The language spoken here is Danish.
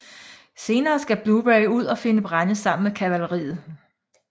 Senere skal Blueberry ud og finde brænde sammen med kavaleriet